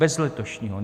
Bez letošního.